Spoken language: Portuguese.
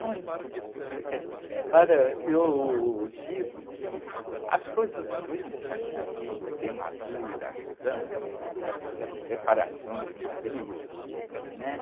Muito... Eh, eh, olha, eu digo que as coisas ruins da minha vida, a queimadura, câncer, separação de marido, né?